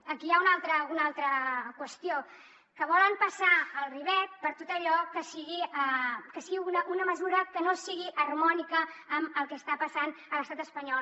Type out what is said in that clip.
aquí hi ha una altra qüestió que volen passar el ribot per tot allò que sigui una mesura que no sigui harmònica amb el que està passant a l’estat espanyol